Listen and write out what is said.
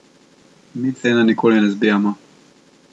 Mi cene nikoli ne zbijamo.